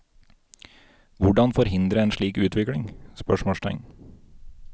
Hvordan forhindre en slik utvikling? spørsmålstegn